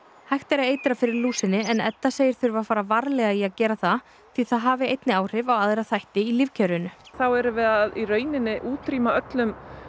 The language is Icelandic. hægt er að eitra fyrir lúsinni en Edda segir þurfa að fara varlega í að gera það því það hafi einnig áhrif á aðra þætti í lífkerfinu þá erum við að í rauninni að útrýma öllum